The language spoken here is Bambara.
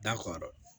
Da kɔrɔ